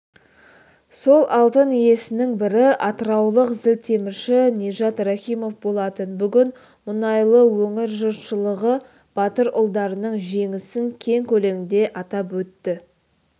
сол алтын иесінің бірі атыраулық зілтемірші нижат рахимов болатын бүгін мұнайлы өңір жұртшылығы батыр ұлдарының жеңісін кең көлемде атап өтті